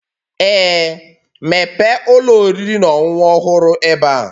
Ee, mepee ụlọ oriri na ọṅụṅụ ọhụrụ ebe a.